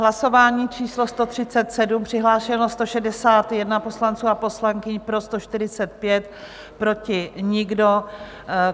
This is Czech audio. Hlasování číslo 137, přihlášeno 161 poslanců a poslankyň, pro 145, proti nikdo.